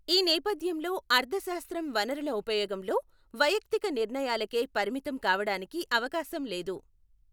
ఈ నేపథ్యంలో అర్థశాస్త్రం వనరుల ఉపయోగంలో వైయక్తిక నిర్ణయాలకే పరిమితం కావటానికి అవకాశం లేదు.